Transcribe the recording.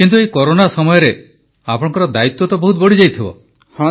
କିନ୍ତୁ ଏହି କରୋନା ସମୟରେ ଆପଣଙ୍କ ଦାୟିତ୍ୱ ବହୁତ ବଢ଼ିଯାଇଛି